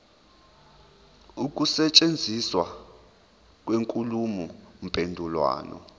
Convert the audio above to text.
ukusetshenziswa kwenkulumo mpendulwano